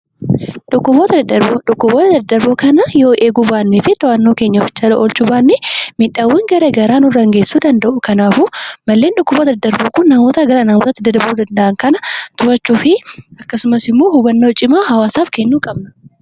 Dhukkuboota daddarboo kanneen yoo eeguu fi to'annoo keenya Jala oolchuu baanne miidhaawwan garaagaraa nurraan geessisuu danda'u. Kanaafuu malleen dhukkuboota daddarboo Kun dhukkuboota gara namaatti daddarbuu danda'an kana to'achuu fi akkasumas immoo hubannoo cimaa hawaasaa kennuu qabna.